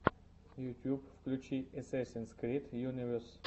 ютуб включи эсэсинс крид юнивес